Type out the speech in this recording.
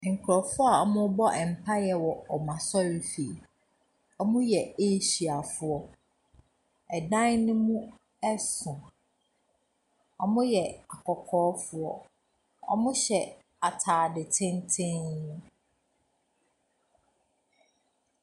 Nkurɔfoɔ a wɔrebɔ mpaeɛ wɔ wɔn asɔrefie. Wɔyɛ Asia foɔ Ɛdan no mu so. Wɔyɛ akɔkɔɔfoɔ. Wɔhyɛ atade tenten.